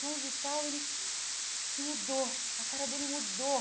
Fulano de tal, e ele ele mudou, a cara dele mudou.